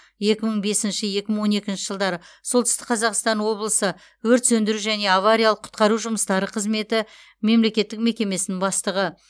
екі мың бесінші екі мың он екінші жылдары солтүстік қазақстан облысы өрт сөндіру және авариялық құтқару жұмыстары қызметі мемлекеттік мекемесінің бастығы